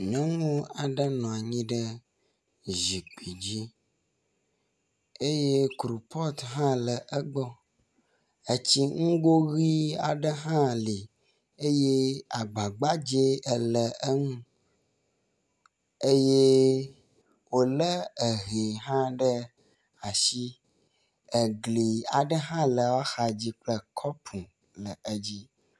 Nyɔnu aɖe nɔ anyi ɖe zikpui dzi eye kupɔt hã le egbɔ. Etsi nugo ʋi aɖe hã li eye agba gbaddzɛ ele enu eye wo le ehɛ hã ɖe asi. Egli aɖe hã le woaxa dzi kple kɔpu le edzi.